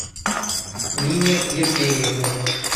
нине евгеньевне